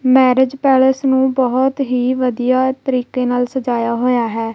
Marriage palace ਨੂੰ ਬਹੁਤ ਹੀ ਵਧੀਆ ਤਰੀਕੇ ਨਾਲ ਸਜਾਇਆ ਹੋਇਆ ਹੈ।